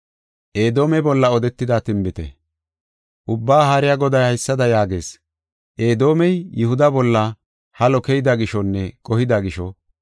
Ubbaa Haariya Goday haysada yaagees; “Edoomey Yihuda bolla halo keyida gishonne qohida gisho,